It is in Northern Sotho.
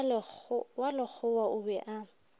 wa lekgowa o be a